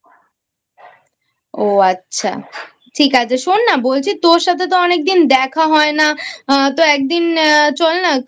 ও আচ্ছা ঠিক আছে শোন না বলছি তোর সাথে তো অনেকদিন দেখা হয় না তো একদিন চল না